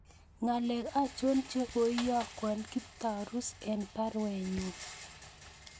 Ngalek achon che koiyogu Kiptarus en baruenyun